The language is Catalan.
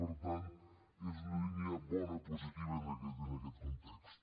per tant és una línia bona positiva en aquest context